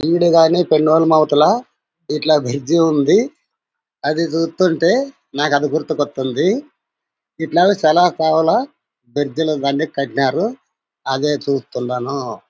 ఈడు గాని పెన్నోమవుతల ఇట్లా బ్రిడ్జి ఉంది. అది చూస్తుటే నాకు అది గుర్తుకొతుంది. ఎట్లా చాల కావాలా బ్రిడ్ లు కట్టినారు. అదే చూస్తున్నాను.